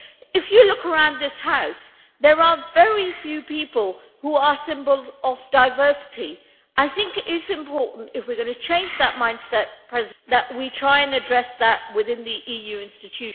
If you look around this House there are very few people who are symbols of diversity. I think it is important if we are going to change that mindset that we try and address that within the EU institutions.